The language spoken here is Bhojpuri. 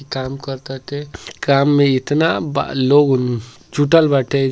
काम करताटे। काम में इतना बा लोग नु जुटल बाटे --